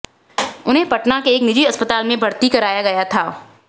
उन्हें पटना के एक निजी अस्पताल में भर्ती कराया गया था